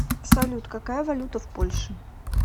салют какая валюта в польше